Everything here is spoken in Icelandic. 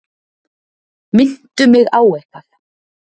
Minntu mig á eitthvað.